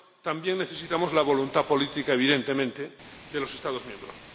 también necesitamos la voluntad política, evidentemente, de los Estados miembros.